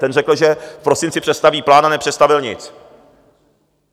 Ten řekl, že v prosinci představí plán, a nepředstavil nic.